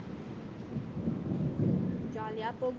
jolly ஆ போகுது